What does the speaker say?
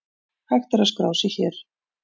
Hægt er að skrá sig hér.